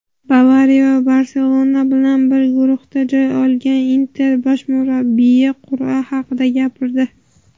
"Bavariya" va "Barselona" bilan bir guruhdan joy olgan "Inter" bosh murabbiyi qur’a haqida gapirdi;.